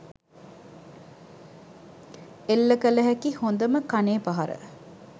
එල්ල කළ හැකි හොඳම කනේ පහර